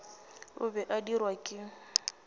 o be a dirwa ke